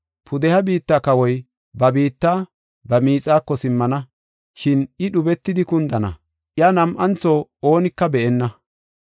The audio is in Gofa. Pudeha biitta kawoy ba biitta, ba miixako simmana. Shin I dhubetidi kundana; iya nam7antho oonika be7enna.